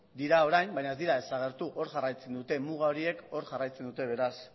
dira orain baina ez dira desagertu hor jarraitzen dute muga horiek hor jarraitzen dute beraz